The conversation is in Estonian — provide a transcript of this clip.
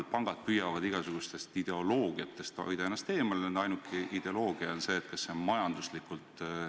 Täpselt need meetmed peaksidki tulema arutelu alla sel neljapäeval ja reedel, 23. ja 24. aprillil.